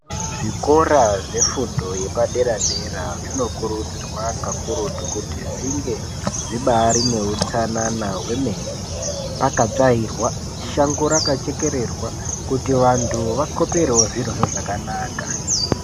Zvikora zvefundo yepadera dera zvinokurudzirwa kakurutu kuti zvinge zvibari neutsanana hwemene pakatsvairwa shango rakachekererwa kuti vantu vakoperewo zvirozvo zvakanaka.